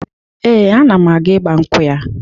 Ee, ana m aga ịgbankwụ ya